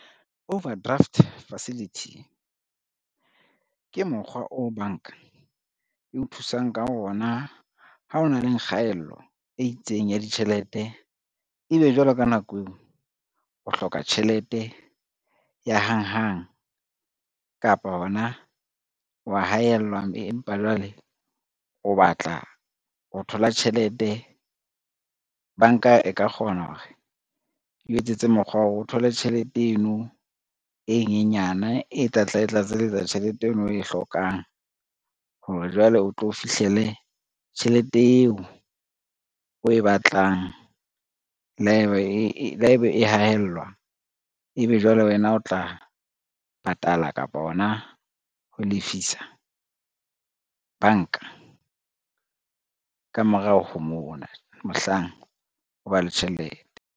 Overdraft facility, ke mokgwa o banka e o thusang ka ona ha o na le kgaello e itseng ya ditjhelete, ebe jwale ka nako eo o hloka tjhelete ya hang hang kapa hona wa haellwa, mme empa jwale o batla ho thola tjhelete. Banka e ka kgona hore eo etsetse mokgwa wa hore o thole tjhelete eno e nyenyana e tlatla e tlatselletsa tjhelete eno o e hlokang hore, jwale o tlo fihlele tjhelete eo o e batlang. Le haeba e haellwa, ebe jwale wena o tla pe patala kapo hona ho lefisa banka, ka morao ho mona, mohlang o ba le tjhelete.